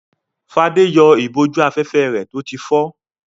Fadé yọ ìbòjú-afẹ́fẹ́ rẹ̀ tó ti fọ́.